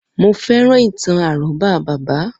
Mo féràn ìtàn àrọ́bá bàbá